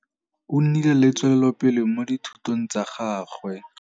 O nnile le tswêlêlôpele mo dithutông tsa gagwe.